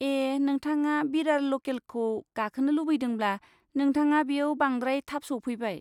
ए, नोंथाङा बिरार लकेलखौ गाखोनो लुबैदोंब्ला, नोंथाङा बेयाव बांद्राय थाब सफैबाय।